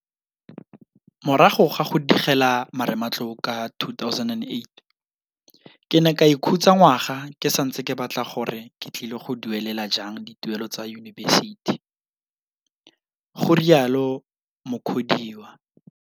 Morago ga go digela marematlou ka 2008, ke ne ka ikhutsa ngwaga ke santse ke batla gore ke tlile go duelela jang dituelo tsa yunibesithi, go rialo Mukhodiwa.